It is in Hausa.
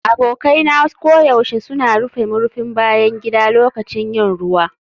Abokai na koyaushe suna rufe murfin bayan gida lokacin yin ruwa.